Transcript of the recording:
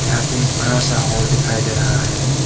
यहां पे एक बड़ा सा हॉल दिखाई दे रहा है।